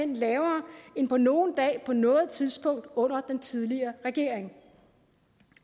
lavere end på nogen dag på noget tidspunkt under den tidligere regering